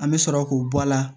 An bɛ sɔrɔ k'o bɔ a la